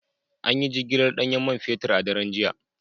An yi jigilar danyen man ne a daren jiya